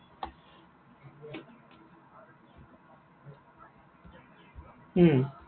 উম